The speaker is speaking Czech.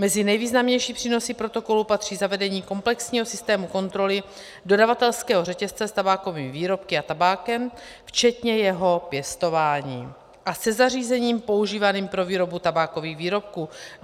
Mezi nejvýznamnější přínosy protokolu patří zavedení komplexního systému kontroly dodavatelského řetězce s tabákovými výrobky a tabákem, včetně jeho pěstování, a se zařízením používaným pro výrobu tabákových výrobků.